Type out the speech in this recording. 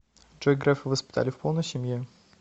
джой грефа воспитали в полной семье